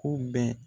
Ko bɛɛ